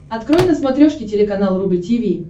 открой на смотрешке телеканал рубль ти ви